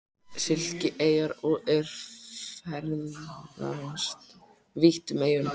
Sikileyjar og er ferðast vítt um eyjuna.